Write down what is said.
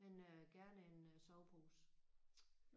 Men øh gerne en øh sovepose